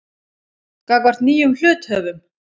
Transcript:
gagnvart nýjum hluthöfum.